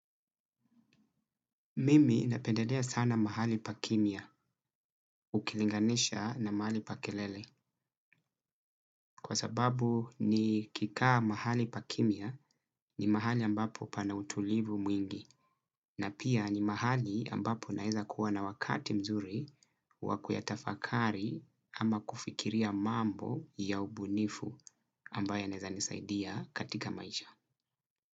Mimi napendelea sana mahali pa kimya ukilinganisha na mahali pa kelele kwa sababu nikikaa mahali pa kimya ni mahali ambapo pana utulivu mwingi na pia ni mahali ambapo naeza kuwa na wakati mzuri wa kuyatafakari ama kufikiria mambo ya ubunifu ambayo yanaeza nisaidia katika maisha.